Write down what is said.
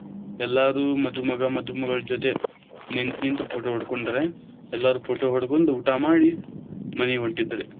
ಎಲ್ಲಾರು ಮಧುಮಗ ಮಧುಮಗಳ ಜೊತೆ ನಿಂತ ನಿಂತ photo ಹೊಡಕೊಂಡ್ರ, ಎಲ್ಲಾರು photo ಹೊಡಕೊಂಡ ಊಟಾ ಮಾಡಿ ಮನಿಗ ಹೊಂಟಿದ್ರ.